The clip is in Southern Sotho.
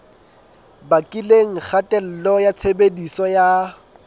bakileng kgatello ya tshebediso ya